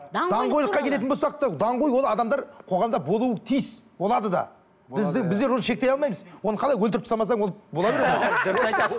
даңғойлыққа келетін болсақ та даңғой ол адамдар қоғамда болуы тиіс болады да біздер оны шектей алмаймыз оны қалай өлтіріп тастамасаң ол бола береді дұрыс айтасыз